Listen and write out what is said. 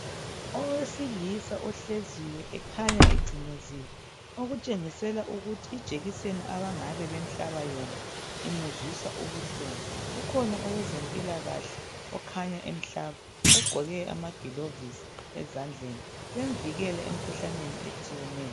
Owesilisa ohleziyo okukhanya ecimezile okutshengisela ukuthi ijekiseni abangabe bemhlaba yona imuzwisa ubuhlungu. Ukhona owezempilakahle okhanya emhlaba ogqoke amagilovisi ezandleni bemvikela emkhuhlaneni etshiyeneyo.